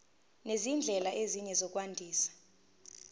nezindlela ezinye zokwandisa